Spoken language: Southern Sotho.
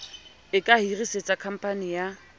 e ka hirisetsa khamphani ya